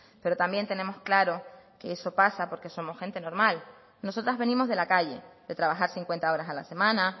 pero también tenemos claro que eso pasa porque somos gente normal nosotras venimos de la calle de trabajar cincuenta horas a la semana